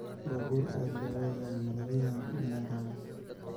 Babur aad lowadhayo malaqayabo ina raaco.